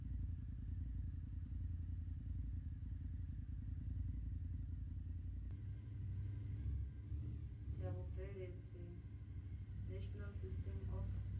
ya vhubveledzi national system of